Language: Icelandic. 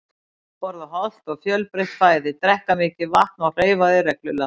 Borða hollt og fjölbreytt fæði, drekka mikið vatn og hreyfa þig reglulega.